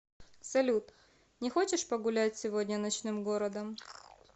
салют не хочешь погулять сегодня ночным городом